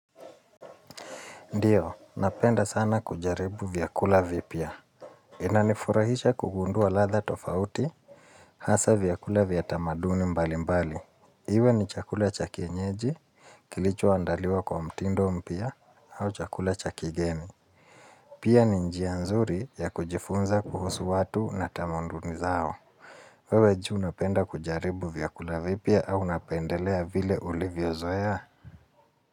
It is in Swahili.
Ndiyo, napenda sana kujaribu vyakula vipya. Inanifurahisha kugundua ladha tofauti, hasa vyakula vya tamaduni mbalimbali. Iwe ni chakula cha kienyeji, kilicho andaliwa kwa mtindo mpya, au chakula cha kigeni. Pia ni njia nzuri ya kujifunza kuhusu watu na tamunduni zao. Wewe juu unapenda kujaribu vyakula vipya au unapendelea vile ulivyozoea.